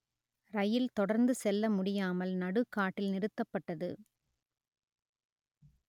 ரயில் தொடர்ந்து செல்ல முடியாமல் நடுக்காட்டி‌ல் நிறு‌த்த‌ப்ப‌ட்டது